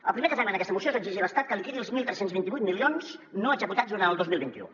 el primer que fem en aquesta moció és exigir a l’estat que liquidi els tretze vint vuit milions no executats durant el dos mil vint u